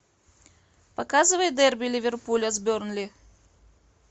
показывай дерби ливерпуля с бернли